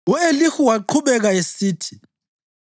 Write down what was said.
U-Elihu waqhubeka esithi: